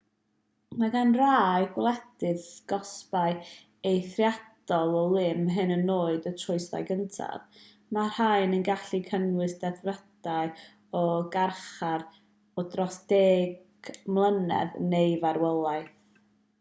mae gan rai gwledydd gosbau eithriadol o lym hyd yn oed am y troseddau cyntaf mae'r rhain yn gallu cynnwys dedfrydau o garchar o dros 10 mlynedd neu farwolaeth